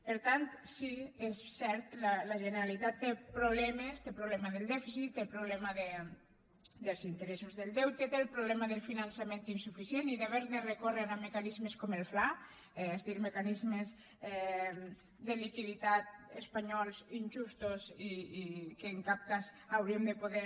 per tant sí és cert la generalitat té problemes té el problema del dèficit té el problema dels interessos del deute té el problema del finançament insuficient i d’haver de recórrer a mecanismes com el fla és a dir a mecanismes de liquiditat espanyols injustos i que en cap cas hauríem de poder